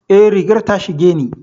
Eh, rigar ta shige ni.